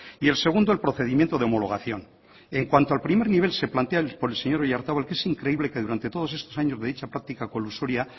y el segundo el procedimiento de homologación en cuanto al primer nivel se plantea por el señor oyarzabal que es increíble que durante todos estos años de dicha práctica colusoria